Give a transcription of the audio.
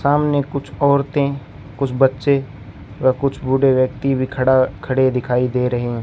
सामने कुछ औरतें कुछ बच्चे व कुछ बूढ़े व्यक्ति भी खड़ा खड़े दिखाई दे रहे हैं।